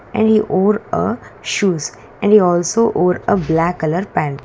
and a wore uh shoes and the also wore auh black colour pant.